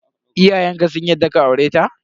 Iyayenka sun yarda ka aure ta?